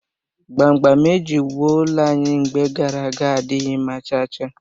Gbamgbam eji wụọ ụlọ anyị mgbe gara aga adịghị mma cha cha